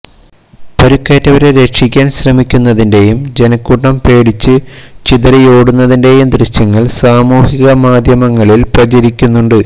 പരിക്കേറ്റവരെ രക്ഷിക്കാൻ ശ്രമിക്കുന്നതിന്റെയും ജനക്കൂട്ടം പേടിച്ച് ചിതറിയോടുന്നതിന്റെയും ദൃശ്യങ്ങൾ സാമൂഹിക മാധ്യമങ്ങളിൽ പ്രചരിക്കുന്നുണ്ട്